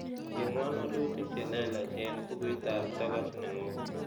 Chengwon walutik che leelach en bookuitab togoch nenyun